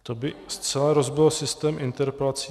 To by zcela rozbilo systém interpelací.